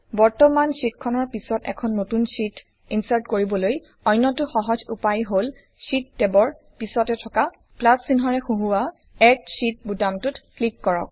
বৰ্তমান শ্বিটখনৰ পিছত এখন নতুন শ্বিট ইনচাৰ্ট কৰিবলৈ অন্যটো সহজ উপায় হল শ্বিট টেবৰ পিছতে থকা প্লাচ চিহ্নৰে সূহোৱা এড শীত বুতামটোত ক্লিক কৰা